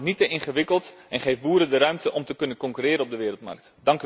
Maak het niet te ingewikkeld en geef boeren de ruimte om te kunnen concurreren op de wereldmarkt.